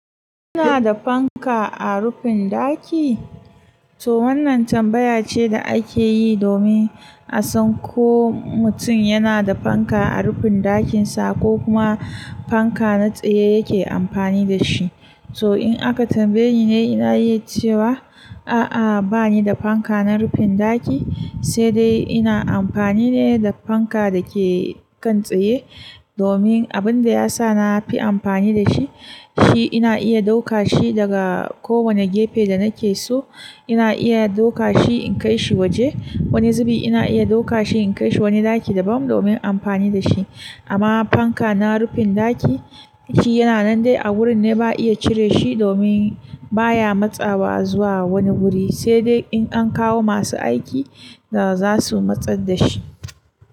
Kina da fanka a rufin daki? To wannan tambaya ce da ake yi domin a san ko mutum yana da fanka a rufin ɗakin sa ko kuma fanka na tsaye yake amfani da shi. To in aka tambayeni ne ina iya cewa a'a bani da fanka na rufin daki, sai dai ina amfani ne da fanka da ke kan tsaye. Domin abinda yasa na fi amfani da shi, shi ina iya ɗauka shi daga kowane gefe da nake so. Ina iya ɗauka shi in kai shi waje wani zubi. Ina iya ɗauka shi in kai shi wani ɗaki daban domin amfani da shi. Amma fanka na rufin ɗaki shi yana nan dai a wurin ne ba iya cire shi domin baya matsawa zuwa wani wuri sai dai in an kawo masu aiki da za su matsar da shi.